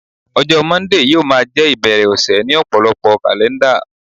ọjọ Monday yíò ma je ibere ọsẹ ni ọpọlọpọ kalẹnda